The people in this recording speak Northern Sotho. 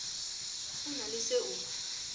o na le se o